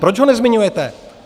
Proč ho nezmiňujete?